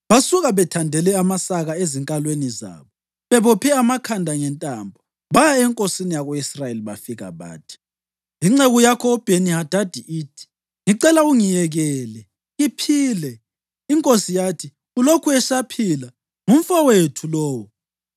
Basuka bethandele amasaka ezinkalweni zabo, bebophe amakhanda ngentambo, baya enkosini yako-Israyeli bafika bathi, “Inceku yakho uBheni-Hadadi ithi, ‘Ngicela ungiyekele ngiphile.’ ” Inkosi yathi, “Ulokhu esaphila? Ngumfowethu lowo.”